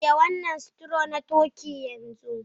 Shirya wannan stew na turkey yanzu!